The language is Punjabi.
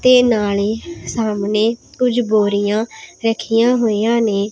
ਤੇ ਨਾਲੇ ਸਾਹਮਣੇ ਕੁਝ ਬੋਰੀਆਂ ਰੱਖੀਆਂ ਹੋਈਆਂ ਨੇਂ।